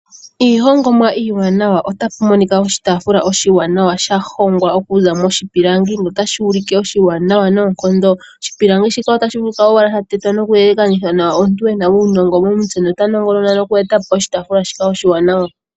Iihongomwa iiwanawa. Oshitaafula oshiwanawa sha hongwa nawa okuza miipilangi notashi ulike oshiwanawa noonkondo. Oshipilangi shika otashi vulika owala sha tetwa noku elakanithwa komuntu ena uunongo momutse nota nongonona oku eta po oshitaafula shika oshiwanawa.